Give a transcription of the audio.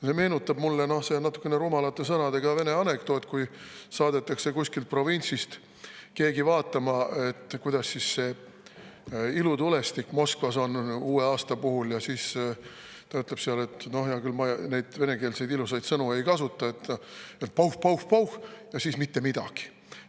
See meenutab mulle ühte natukene rumalate sõnadega vene anekdooti: saadetakse kuskilt provintsist keegi vaatama, kuidas ilutulestik Moskvas on uue aasta puhul, ja siis ta ütleb – no hea küll, ma neid "ilusaid" venekeelseid ilusaid sõnu ei kasutata –, et pauh-pauh-pauh ja siis mitte midagi.